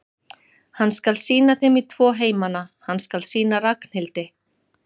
Hann skal sýna þeim í tvo heimana, hann skal sýna Ragnhildi